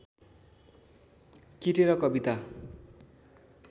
किटेर कविता